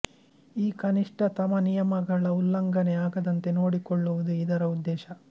ಈ ಕನಿಷ್ಟತಮ ನಿಯಮಗಳ ಉಲ್ಲಂಘನೆ ಆಗದಂತೆ ನೋಡಿಕೊಳ್ಳುವುದು ಇದರ ಉದ್ದೇಶ